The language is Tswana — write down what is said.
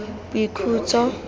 boikhutso